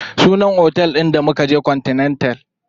Sunan otel ɗin da mukaje continental.